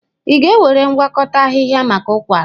Ị ga-ewere ngwakọta ahịhịa maka ụkwara?